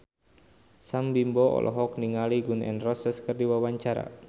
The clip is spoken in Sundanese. Sam Bimbo olohok ningali Gun N Roses keur diwawancara